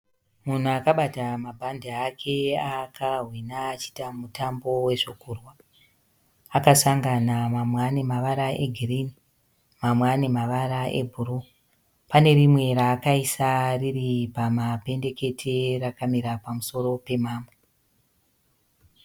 Munhu akabata mabhande ake aakahwina achiita mutambo wezvokurwa. Akasangana mamwe ane ane mavara egirini mamwe ane mavara ebhuruu. Pane rimwe raakaisa riri pamabendekete rakamira pamusoro pemamwe.